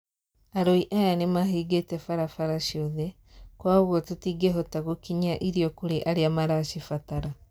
"Arũi aya nimahingite barabara ciothe, kwa ugwo tũtingehota gũkinyia irio kũri aria maracibatara"